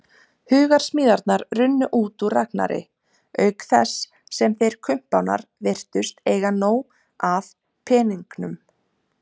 Hugarsmíðarnar runnu út úr Ragnari, auk þess sem þeir kumpánar virtust eiga nóg af peningum.